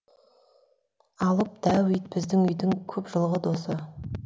алып дәу ит біздің үйдің көп жылғы досы